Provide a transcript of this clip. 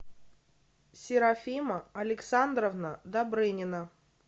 серафима александровна добрынина